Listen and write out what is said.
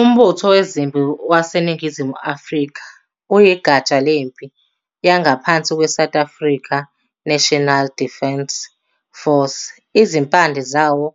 Umbutho Wezempi waseNingizimu Afrika uyigatsha lempi yangaphansi kweSouth African National Defence Force. Izimpande zawo